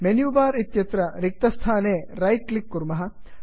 menu bar इत्यत्र रिक्तस्थाने right click कुर्मः